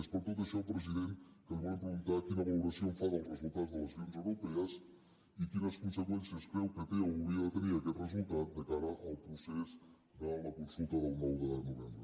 és per tot això president que li volem preguntar quina valoració en fa dels resultats de les eleccions europees i quines conseqüències creu que té o hauria de tenir aquest resultat de cara al procés de la consulta del nou de novembre